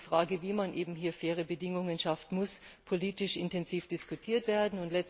Aber die Frage, wie man hier faire Bedingungen schafft, muss politisch intensiv diskutiert werden.